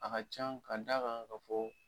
A ka ca, ka da kan ka fɔ